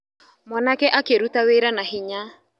Mwanake akĩruta wĩra na hinya.